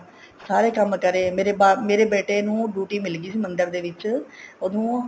ਸਾਰੇ ਕੰਮ ਕਰੇ ਮੇਰੇ ਬ ਮੇਰੇ ਬੇਟੇ ਨੂੰ duty ਮਿਲ ਗਈ ਸੀ ਮੰਦਰ ਦੇ ਵਿੱਚ ਉਹਨੂੰ